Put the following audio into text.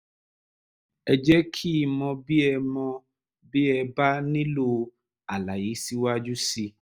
ẹ jẹ́ kí n mọ̀ bí ẹ mọ̀ bí ẹ bá nílò àlàyé síwájú sí i